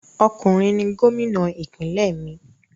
Ọkùnrin ni Gómìnà ìpínlẹ̀ mí